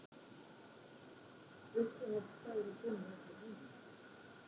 Uppáhalds staðurinn þinn í öllum heiminum?